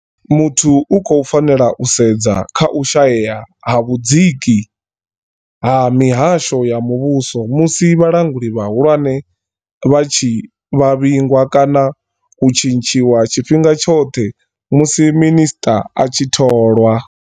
Muthu u khou fanela u sedza kha u shayea ha vhudziki ha mihasho ya muvhuso musi vhalanguli vha hulwane vha tshi vhavhingwa kana u tshintshiwa tshifhinga tshoṱhe musi minisṱa a tshi tholwa.